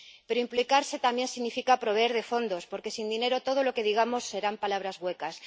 Pero implicarse también significa proveer de fondos, porque sin dinero todo lo que digamos serán palabras huecas.